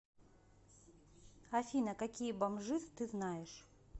афина какие бомжиз ты знаешь